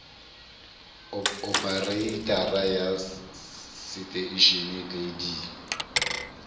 opereitara ya seteishene le d